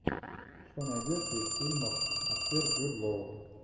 что найдется из фильмов актер джуд лоу